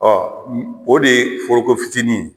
Ɔ o de ye foroko fitinin ye